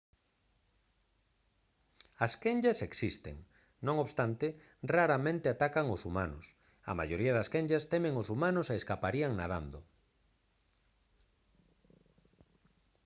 as quenllas existen non obstante raramente atacan aos humanos a maioría das quenllas temen aos humanos e escaparían nadando